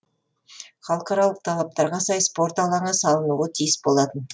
халықаралық талаптарға сай спорт алаңы салынуы тиіс болатын